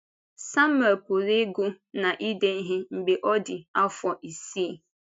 Sámuẹl pụrụ ịgụ na ide ihe mgbe ọ dị afọ isii.